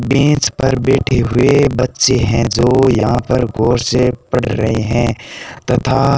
bench पर बैठे हुए बच्चे हैं जो यहां पर गौर से पढ़ रहे हैं तथा --